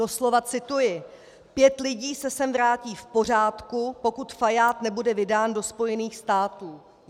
Doslova cituji: Pět lidí se sem vrátí v pořádku, pokud Fajád nebude vydán do Spojených států.